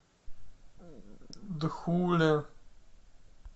дхуле